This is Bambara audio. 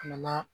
A nana